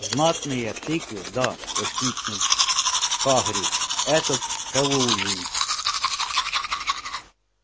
знатные тыквы да воскликнул хагрид это к хэллоуину